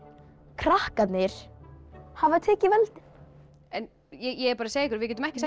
krakkarnir hafa tekið völdin ég er bara að segja ykkur við getum ekki